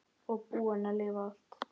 Og búin að lifa allt.